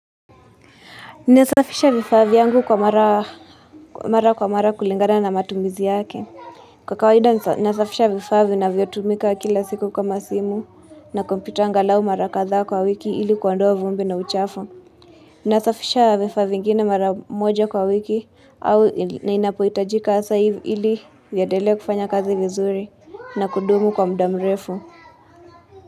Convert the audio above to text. Ninasafisha vifaa vyangu kwa mara mara kwa mara kulingana na matumizi yake kwa kawaida ninasafisha vifaa vinavyotumika kila siku kama simu na kompyuta angalau mara kadha kwa wiki ili kuondoa vumbi na uchafu ninasafisha vifaa vingine mara moja kwa wiki au ninapohitajika hasa ili iendele kufanya kazi vizuri na kudumu kwa muda mrefu.